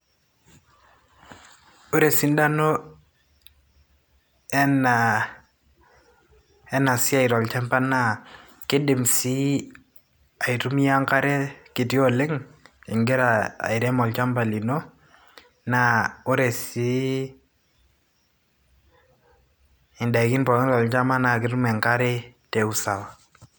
Ore esidano ena, ena siai tolchamba naa kidim sii aitumia enkare kiti oleng ingira airem olchamba lino naa ore siiindaikin pookin tolchamba naa ketum enkare te usawa.